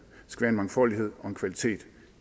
skal være en mangfoldighed og en kvalitet